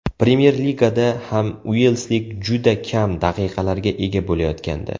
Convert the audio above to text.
Premyer Ligada ham uelslik juda kam daqiqalarga ega bo‘layotgandi.